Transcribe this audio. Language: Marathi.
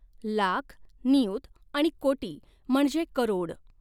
लाख, नियुत आणि कोटि म्हणजे करोड़।